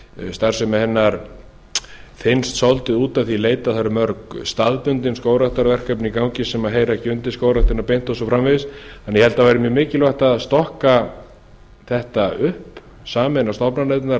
starfsemi hennar þynnst svolítið út að því leyti að mörg staðbundin skógræktarverkefni eru í gangi sem heyra ekki beint undir skógræktina beint og svo framvegis ég held því að mikilvægt væri að stokka þetta upp sameina stofnanirnar á